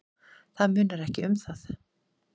Það munar ekki um það.